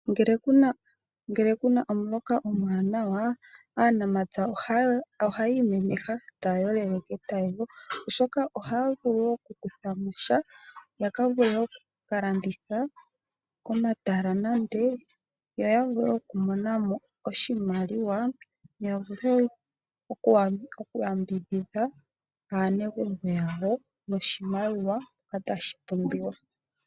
Ngele kuna omuloka omuwanawa, aanamapya ohaya imemeha. Taya yolele ketayego oshoka ohaya vulu okukutha mo sha ya vule wo okukalanditha komatala yo ya vule okumona mo oshimaliwa ya vule okuyambidhidha aaneguambo lyawo oshimaliwa mpa tashi pumbiwa.